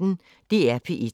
DR P1